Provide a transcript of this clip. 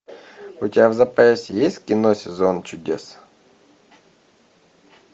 у тебя в запасе есть кино сезон чудес